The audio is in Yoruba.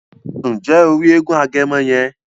Nje o ri èègún Agẹmọ yẹn?